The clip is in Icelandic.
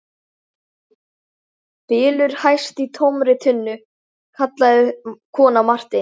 Bylur hæst í tómri tunnu, kallaði kona Marteins.